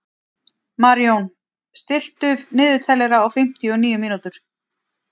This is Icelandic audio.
Marjón, stilltu niðurteljara á fimmtíu og níu mínútur.